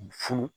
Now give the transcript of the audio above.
Funu